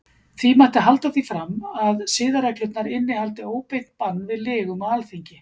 Því mætti halda því fram að siðareglurnar innihaldi óbeint bann við lygum á Alþingi.